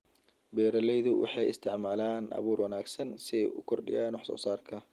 Beeraleydu waxay isticmaalaan abuur wanaagsan si ay u kordhiyaan wax-soo-saarka.